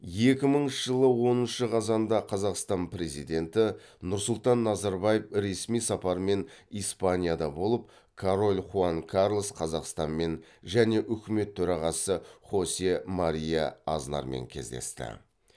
екі мыңыншы жылы отызыншы қазанда қазақстан президенті нұрсұлтан назарбаев ресми сапармен испанияда болып король хуан карлос қазақстанмен және үкімет төрағасы хосе мария азнармен кездесті